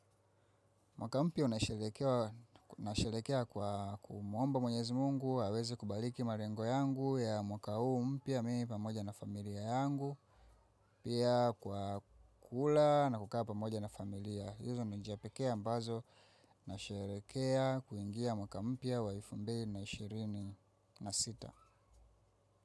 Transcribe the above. Mwaka mpya unasherekea kwa kumwomba mwenyezi mungu, aweze kubaliki malengo yangu ya mwaka huu mpya mimi pamoja na familia yangu, pia kwa kula na kukaa pamoja na familia. Hizi ni njia pekea ambazo, nasherekea kuingia mwaka mpya wa elfu mbili na ishirini na sita.